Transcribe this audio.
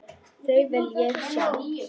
Þau vil ég sjá.